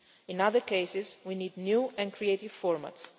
In other cases, we need new and creative